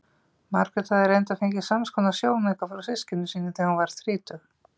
Margrét hafði reyndar fengið samskonar sjónauka frá systkinum sínum þegar hún varð þrítug.